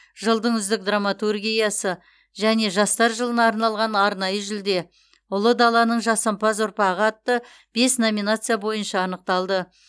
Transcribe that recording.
жылдың үздік драматургиясы және жастар жылына арналған арнайы жүлде ұлы даланың жасампаз ұрпағы атты бес номинация бойынша анықталды